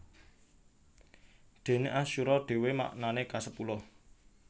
Déné asyura dhéwé maknané kasepuluh